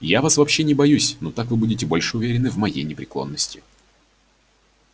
я вас вообще не боюсь но так вы будете больше уверены в моей непреклонности